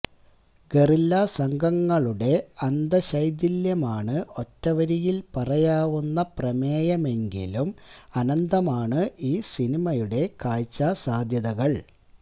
guerrilla സംഘങ്ങളുടെ അന്തശൈഥില്യമാണ് ഒറ്റവരിയില് പറയാവുന്ന പ്രമേയമെങ്കിലും അനന്തമാണ് ഈ സിനിമയുടെ കാഴ്ചാ സാധ്യതകള്